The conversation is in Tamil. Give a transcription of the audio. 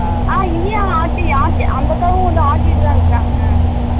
ஆஹ இல்லமா ஆட்டி ஆட்டி அத வங்களும் ஆட்டிடுதா இருக்காங்க